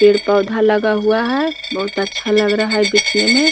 पेड़-पौधा लगा हुआ है बहुत अच्छा लग रहा है दिखने में।